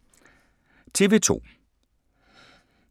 TV 2